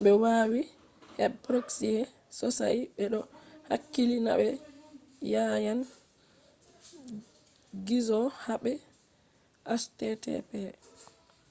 be wawi web proxies sosai: be do hakkili na be yanan gizo habe http